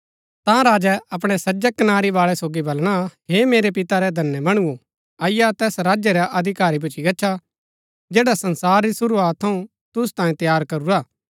ता राजै अपणी सज्जै कनारी बाळै सोगी बलणा हे मेरै पिता रै धन्य मणुओ अईआ तैस राज्य रै अधिकारी भूच्ची गच्छा जैडा संसार री शुरूआत थऊँ तुसु तांयें तैयार करूरा हा